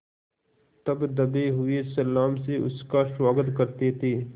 तब दबे हुए सलाम से उसका स्वागत करते थे